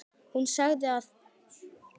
Hún sagði það gamla mold.